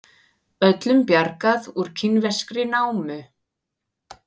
Öllum bjargað úr kínverskri námu